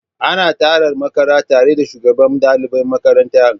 Ana tarar makara tare da shugaban dalibai makaranta